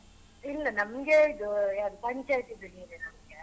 ಇಲ್ಲ ನಮ್ಗೆ ಇದು ಯಾವ್ದ್ ಪಂಚಾಯಿತಿದು ನೀರು ನಮ್ಗೆ.